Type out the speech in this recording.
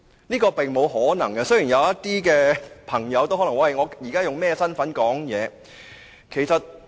這是並無可能的，雖然有些朋友亦可能會說他們現在用甚麼身份發言。